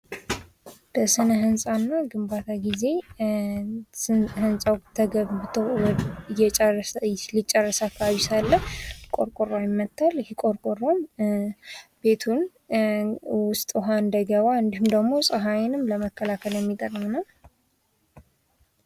በስነ ህንፃና ግንባታ ጊዜ ህንጻው ተገንብቶ እየጨረሰ ሊጨርስ አካባቢ ሳለ ቆርቆሮ ይመታል። ይህ ቆርቆሮም ቤቱን ውሃ እንዳይገባ እንዲሁም ደግሞ ፀሐይንም ለመከላከል የሚጠቅም ነው።